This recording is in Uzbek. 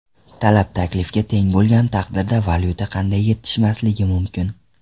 Talab taklifga teng bo‘lgan taqdirda, valyuta qanday yetishmasligi mumkin?